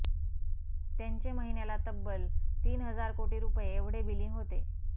त्यांचे महिन्याला तब्बल तीन हजार कोटी रुपये एवढे बिलिंग होते